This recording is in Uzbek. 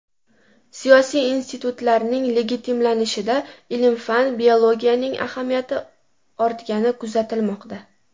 Siyosiy institutlarning legitimlanishida ilm-fan/biologiyaning ahamiyati ortgani kuzatilmoqda .